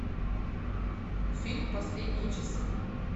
фильм последние часы